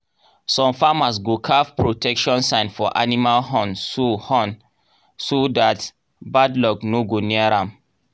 some farmers go carve protection sign for animal horn so horn so that bad luck no go near am